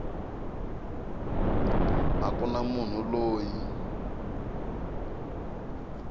a ku na munhu loyi